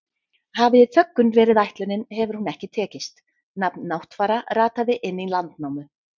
Hafi þöggun verið ætlunin hefur hún ekki tekist, nafn Náttfara rataði inn í Landnámu.